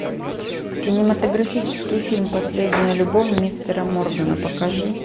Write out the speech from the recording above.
кинематографический фильм последняя любовь мистера моргана покажи